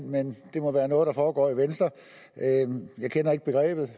men det må være noget der foregår i venstre jeg kender ikke begrebet